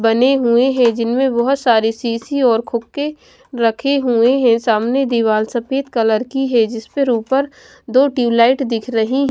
बने हुए हैं जिनमें बहुत सारी शीशी और खोखे रखी हुई है। सामने दीवार सफेद कलर की है जिस पर ऊपर दो ट्यूबलाइट दिख रही।